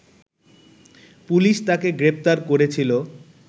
police তাকে গ্রেপ্তার করেছিল